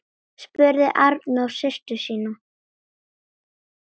spurði Arnór systur sína.